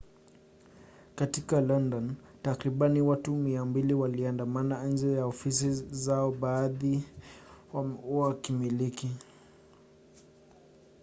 katika london takribani watu 200 waliandamana nje ya ofisi za baadhi ya wenye hakimiliki